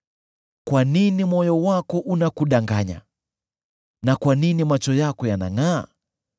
Kwa nini moyo wako unakudanganya, na kwa nini macho yako yanangʼaa,